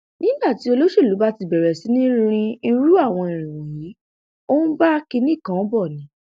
nígbà tí olóṣèlú bá ti bẹrẹ sí í rin irú àwọn irin wọnyí ó ń bá kinní kan bọ ni